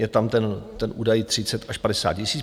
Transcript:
Je tam ten údaj 30 až 50 tisíc.